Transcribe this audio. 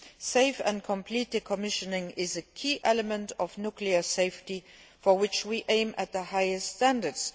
Safe and complete decommissioning is a key element of nuclear safety, for which we aim at the highest standards.